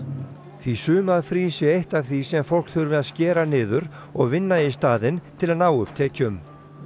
því sumarfrí sé eitt af því sem fólk þurfi að skera niður og vinna í staðinn til að ná upp tekjum